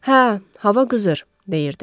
Hə, hava qızır, deyirdi.